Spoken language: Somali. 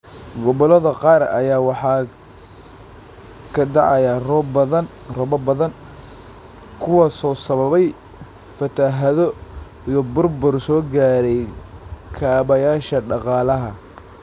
Gobollada qaar ayaa waxaa ka da�aya roobab badan, kuwaasoo sababay fatahaado iyo burbur soo gaaray kaabayaasha dhaqaalaha.